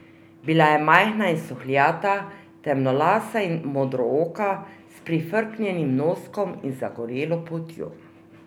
Bila je majhna in suhljata, temnolasa in modrooka, s prifrknjenim noskom in z zagorelo poltjo.